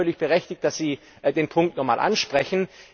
Ich finde es völlig berechtigt, dass Sie den Punkt nochmal ansprechen.